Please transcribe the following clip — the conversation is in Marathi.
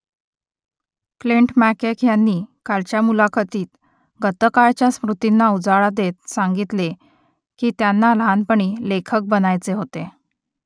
क्लिंट मॅकके यांनी कालच्या मुलाखतीत गतकाळातल्या स्मृतींना उजाळा देत सांगितले की त्यांना लहानपणी लेखक बनायचे होते